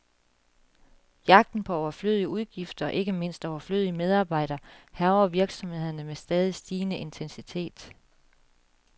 Jagten på overflødige udgifter, og ikke mindst overflødige medarbejdere, hærger virksomhederne med stadig stigende intensitet.